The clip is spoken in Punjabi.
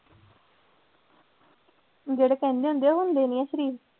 ਜਿਹੜੇ ਕਹਿੰਦੇ ਹੁੰਦੇ ਆ ਹੁੰਦੇ ਨੀ ਆ ਸਰੀਫ਼।